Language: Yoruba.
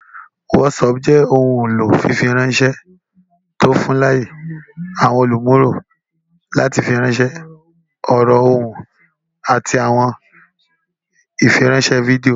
WhatsApp jẹ ohun elo fifiranṣẹ ti o fun laaye awọn olumulo lati firanṣẹ ọrọ, ohun, ati awọn ifiranṣẹ fidio.